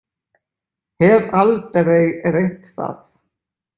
Hef aldrei reynt það.